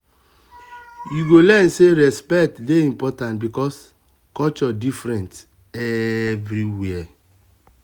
you go learn say respect dey important because culture different everywhere.